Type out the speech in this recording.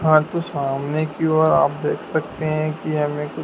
सामने की और आप देख सकते हैं कि हमें--